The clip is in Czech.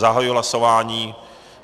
Zahajuji hlasování.